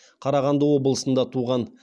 қарағанды облысында туған